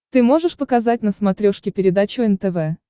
ты можешь показать на смотрешке передачу нтв